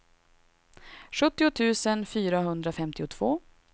sjuttio tusen fyrahundrafemtiotvå